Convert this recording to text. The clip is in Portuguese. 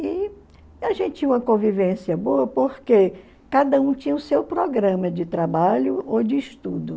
E a gente tinha uma convivência boa porque cada um tinha o seu programa de trabalho ou de estudo.